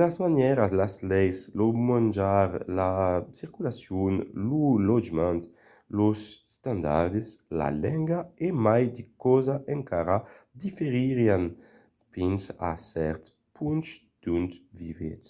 las manièras las leis lo manjar la circulacion lo lotjament los estandards la lenga e mai de causas encara diferiràn fins a cèrt ponch d’ont vivètz